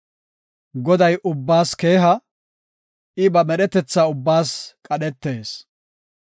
Goday ubbaas keeha; I ba medhetetha ubbaas qadhetees.